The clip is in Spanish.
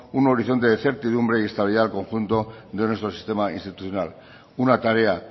un horizonte de certidumbre y estabilidad al conjunto de nuestro sistema institucional una tarea